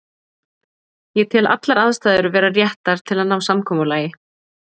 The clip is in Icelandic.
Ég tel allar aðstæður vera réttar til að ná samkomulagi.